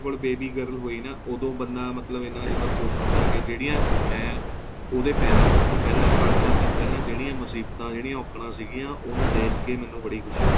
baby girl ਹੋਈ ਨਾ ਉਦੋਂ ਬੰਦਾ ਮਤਲਬ ਇੰਨਾ ਜਿਆਦਾ ਖ਼ੁਸ਼ ਹੁੰਦਾ ਏ ਜਿਹੜੀਆਂ ਮੈਂ ਉਹਦੇ ਪੈਦਾ ਹੋਣ ਤੋ ਪਹਿਲਾਂ ਪੰਜ ਚਾਰ ਦਿਨ ਪਹਿਲਾਂ ਜਿਹੜੀਆਂ ਮੁਸੀਬਤਾਂ ਜਿਹੜੀਆਂ ਔਕੜਾ ਸੀਗੀਆ ਉਹਨੂੰ ਦੇਖਕੇ ਮੈਨੂੰ ਬੜੀ ਖੁਸ਼ੀ ਹੋਈ